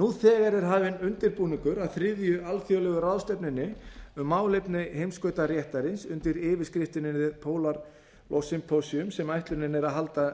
nú þegar er hafinn undirbúningur að þriðju alþjóðlegu ráðstefnunni um málefni heimskautaréttarins undir yfirskriftinni the polar law symposium sem ætlunin er að halda